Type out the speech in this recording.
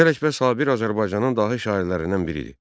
Mirzə Ələkbər Sabir Azərbaycanın dahi şairlərindən biri idi.